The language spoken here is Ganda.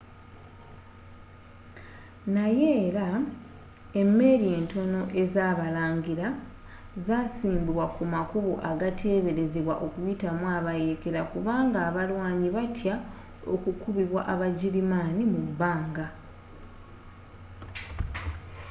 naye era emeeri ntono ezabalangira zasiimbibwa kumakubo agateberezebwa okuyitamu abayeekera kubanga abalwanyi batya okukubibwa aba girimaani mubbanga